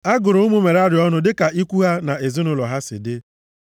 A gụrụ ụmụ Merari ọnụ dịka ikwu ha na ezinaụlọ ha si dị.